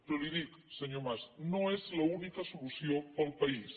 però li dic senyor mas no és l’única solució per al país